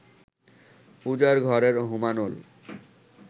পূজার ঘরের হোমানল